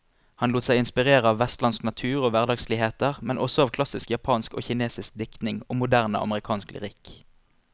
Han lot seg inspirere av vestlandsk natur og hverdagsligheter, men også av klassisk japansk og kinesisk diktning og moderne amerikansk lyrikk.